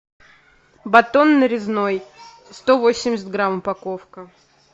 батон нарезной сто восемьдесят грамм упаковка